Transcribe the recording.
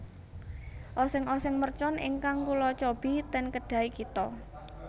Oseng oseng mercon ingkang kula cobi ten Kedai Kita